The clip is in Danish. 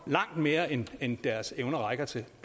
langt mere end end deres evner rækker til